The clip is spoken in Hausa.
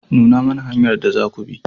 Nuna mana hanyar da zaku bi.